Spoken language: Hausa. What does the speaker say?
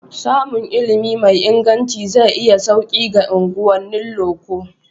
Samun ilimi mai inganci zai yi sauki ga unguwannin loko.